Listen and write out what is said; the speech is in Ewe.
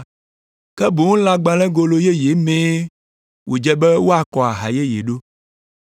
Ke boŋ lãgbalẽgolo yeye mee wòdze be woakɔ aha yeye ɖo.